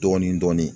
Dɔɔnin dɔɔnin